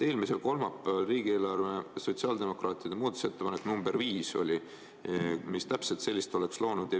Eelmisel kolmapäeval oli riigieelarve autelul sotsiaaldemokraatide tehtud muudatusettepanek nr 5, mis täpselt selle oleks loonud.